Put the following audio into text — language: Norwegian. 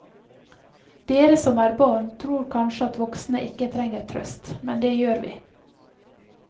Dere som er barn tror kanskje at voksne ikke trenger trøst, men det gjør vi.